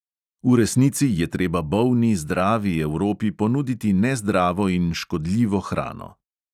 V resnici je treba bolni zdravi evropi ponuditi nezdravo in škodljivo hrano.